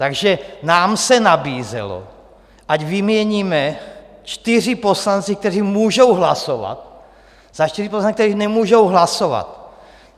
Takže nám se nabízelo, ať vyměníme čtyři poslance, kteří můžou hlasovat, za čtyři poslance, kteří nemůžou hlasovat.